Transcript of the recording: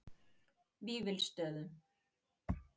Vífilsstöðum